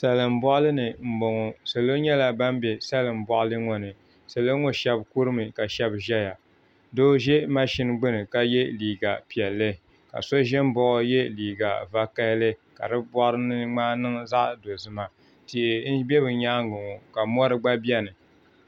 Salin boɣali ni n boŋo salo nyɛla bin bɛ salin boɣali ŋo ni salo shab kurimi ka shab ʒɛya doo ʒɛ mashin gbuni ka yɛ liiga piɛlli ka so ʒɛ n baɣa o yɛ liiga vakaɣali ka di boɣari ni ŋmaa niŋ zaɣ dozima tihi n bɛ bi nyaangi ŋo ka mori gba biɛni